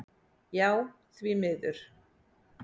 Já því miður.